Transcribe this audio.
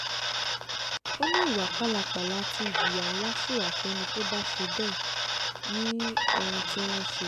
ó ní ìwà pálapàla tí ìjìyà ńlá ṣì wà fẹ́ni tó bá ṣe bẹ́ẹ̀ ní ohun tí wọ́n ṣe